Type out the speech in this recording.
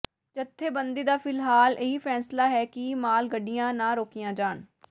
ਜਥੇਬੰਦੀ ਦਾ ਫਿਲਹਾਲ ਇਹੀ ਫ਼ੈਸਲਾ ਹੈ ਕਿ ਮਾਲ ਗੱਡੀਆਂ ਨਾ ਰੋਕੀਆਂ ਜਾਣ